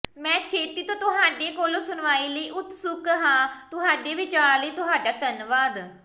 ਮੈਂ ਛੇਤੀ ਤੋਂ ਤੁਹਾਡੇ ਕੋਲੋਂ ਸੁਣਵਾਈ ਲਈ ਉਤਸੁਕ ਹਾਂ ਤੁਹਾਡੇ ਵਿਚਾਰ ਲਈ ਤੁਹਾਡਾ ਧੰਨਵਾਦ